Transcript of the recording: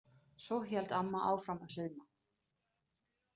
Svo hélt amma áfram að sauma.